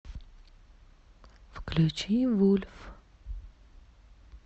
включи вульф